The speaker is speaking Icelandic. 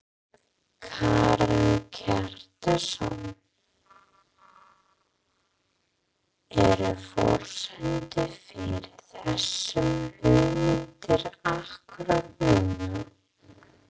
Karen Kjartansson: Eru forsendur fyrir þessum hugmyndum akkúrat núna?